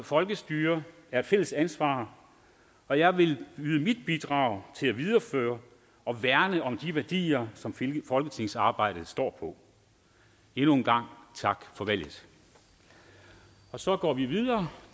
folkestyre er et fælles ansvar og jeg vil yde mit bidrag til at videreføre og værne om de værdier som folketingsarbejdet står på endnu en gang tak for valget og så går vi videre